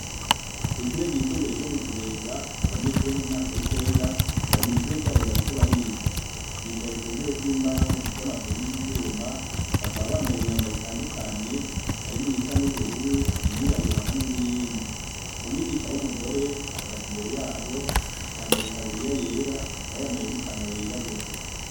Ku ishuri ryisumbuye ryo mu kibenga abanyeshuri bo mu mwaka w'icenda bari mw'ishuri ryabo bariko bariga bicaye ku ntebe zimbaho zifise amaguru y'ivyuma bakaba bambaye imyambaro itandukanye harimwo iyisa n'ubururu iyirabura hamwe n'iyindi umwigisha w'umugore ahagaze imbereyabo yambaye itaburiya yera akaba yambaye n'ipantaro yirabura.